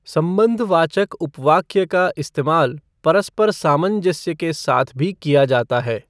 सम्बन्धवाचक उपवाक्य का इस्तेमाल परस्पर सामजस्य के साथ भी किया जाता है।